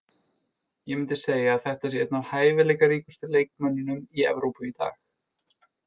Ég myndi segja að þetta sé einn af hæfileikaríkustu leikmönnunum í Evrópu í dag.